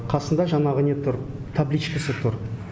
қасында жанағы не тұр табличкасы тұр